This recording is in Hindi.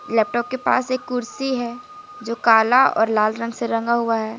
लैपटॉप के पास एक कुर्सी है जो काला और लाल रंग से रंगा हुआ है।